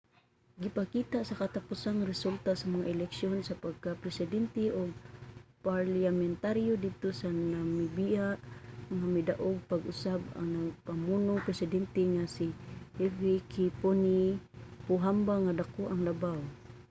gipakita sa katapusang resulta sa mga eleksiyon sa pagkapresidente ug parliamentaryo didto sa namibia nga midaog pag-usab ang nagapamunong presidente nga si hifikepunye pohamba nga dako ang labaw